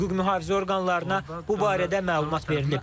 Hüquq mühafizə orqanlarına bu barədə məlumat verilib.